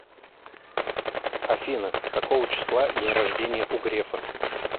афина какого числа день рождения у грефа